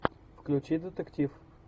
включи детектив